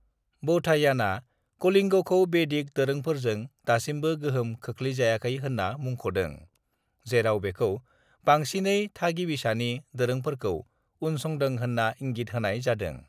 "बौधायानया कलिंगखौ बेदिक दोरोंफोरजों दासिमबो गोहोम खोख्लैजायाखै होन्ना मुंख'दों, जेराव बेखौ बांसिनै थागिबिसानि दोरोंफोरखौ उनसंदों होन्ना इंगित होनाय जादों।"